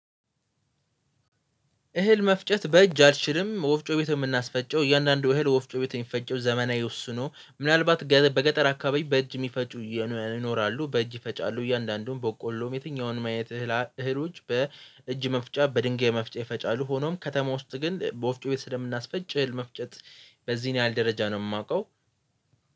እህል መፍጨት በእጅ አልችልም ወፍጮ ቤት የምናስፈጨው እያንዳንዱ እህል ወፍጮ ቤት የሚፈጨው ዘመናዊ ወስኖ ምናልባት በገጠር አካባቢ በእጅ የሚፈጩ ይኖራሉ። በእጅ ይፈጫሉ እያንዳንዱም በቆሎም የትኛውንም አይነት እህል እህሎች በእጅ መፍጨት በድንጋይ መፍጨት የፈጫሉ። ሆኖም ከተማ ውስጥ ግን በወፍጮ ቤት ስለምናስፈጭል እህል መፍጨት በዚህን ያህል ደረጃ ነው የማውቀው